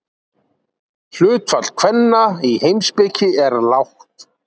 Hlutfall kvenna í heimspeki er lágt.